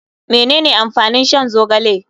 Menene amfanin shan zogale.